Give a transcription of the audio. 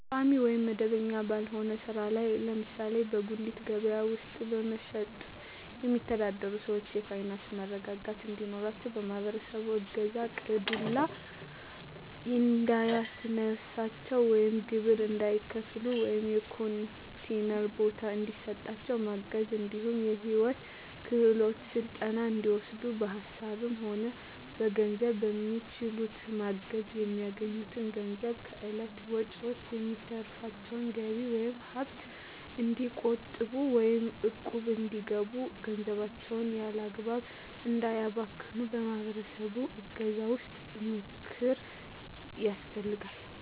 ቋሚ ወይም መደበኛ ባልሆነ ስራ ላይ ለምሳሌ በጉሌት ከበያ ውስጥ በመሸትጥ የሚተዳደሩትን ሰዎች የፋይናንስ መረጋጋት እንዲኖራቸው የማህበረሰቡ እገዛ ቀይ ዱላ እንዳያስነሳቸው ወይም ግብር እንዳይከፍሉ ወይም የኮንቲነር ቦታ እንዲሰጣቸው ማገዝ እንዲሁም የሂወት ክሄሎት ስልጠና እንዲወስዱ በሀሳብም ሆነ በገንዘብ በሚችሉት ማገዝ፣ በሚያገኙት ገንዘብ ከእለት ወጭዎች የሚተርፋቸውን ገቢ ወይም ሀብት እንዲቆጥቡ ወይም እቁብ እንዲገቡ ገንዘባቸውን ያላግባብ እንዳያባክኑ የማህበረሰቡ እገዛ ወይም ምክር ያስፈልጋል።